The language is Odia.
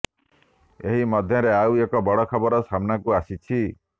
ଏହି ମଧ୍ୟରେ ଆଉ ଏକ ବଡ଼ ଖବର ସାମ୍ନାକୁ ଆସିଛି